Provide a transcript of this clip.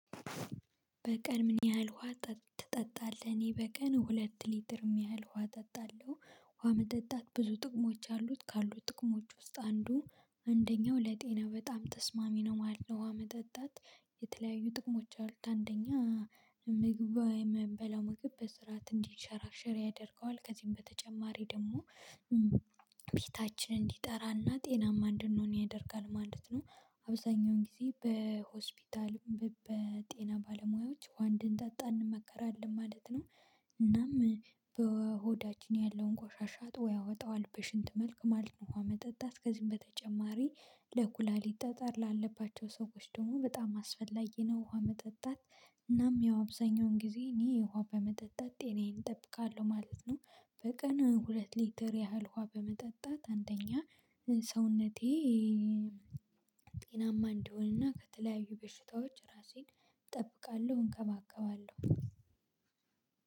በቀን ምን ያህል ውሃ ትጠጣለህ? እኔ በቀን ሁለት ሊትር ሚያህል ውሃ እጠጣለሁ። ውሃ መጠጣት ብዙ ጥቅሞች አሉት ካሉት ጥቅሞች ውስጥ አንዱ አንደኛው ለጤና በጣም ተስማሚ ነው ማለት ነው። ውሃ መጠጣት የተለያዩ ጥቅሞች አሉት አንደኛ ምግብ ምንበላው ምግብ በስርዓት እንዲሸራሸር ያደርገዋል ከዚህም በተጨማሪ ደግሞ ፊታችን እንዲጠራና ጤናማ እንድንሆን ያደርጋል ማለት ነው። አብዛኛውን ጊዜ በሆስፒታል በጤና ባለሙያዎች ውሃ እንድንጠጣ እንመከራለን ማለት ነው። እናም በሆዳችን ያለውን ቆሻሻ አጥቦ ያወጣዋል በሽንት መልክ ማለት ነው። ውሃ መጠጣት ከዚህም በተጨማሪ ለኩላሊት ጠጠር ላለባቸው ሰዎች ደግሞ በጣም አስፈላጊ ነው። ውሃ መጠጣት እናም ያው አብዛኛውን ጊዜ እኔ ውሃ በመጠጣት ጤናዬን እጠብቃለሁ ማለት ነው። በቀን ሁለት ሊትር ያህል ውሃ በመጠጣት አንተኛ ሰውነቴ ጤናማ እንዲሆንና ከተለያዩ በሽታዎች ራሴን እጠብቃለሁ እንከባከባለሁ።